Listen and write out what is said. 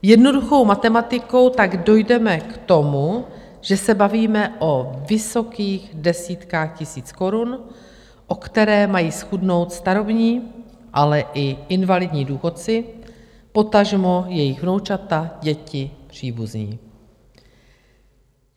Jednoduchou matematikou tak dojdeme k tomu, že se bavíme o vysokých desítkách tisíc korun, o které mají zchudnout starobní, ale i invalidní důchodci, potažmo jejich vnoučata, děti, příbuzní.